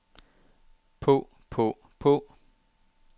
på på på